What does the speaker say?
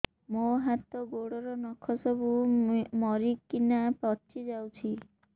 ମୋ ହାତ ଗୋଡର ନଖ ସବୁ ମରିକିନା ପଚି ଯାଉଛି